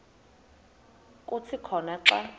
kuthi khona xa